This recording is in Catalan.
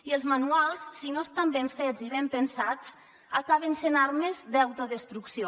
i els manuals si no estan ben fets i ben pensats acaben sent armes d’autodestrucció